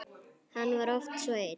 Hann var oft svo einn.